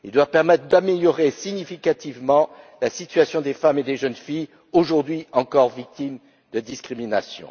Il doit permettre d'améliorer significativement la situation des femmes et des jeunes filles, aujourd'hui encore, victimes de discriminations.